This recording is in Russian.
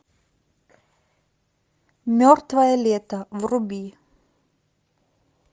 мертвое лето вруби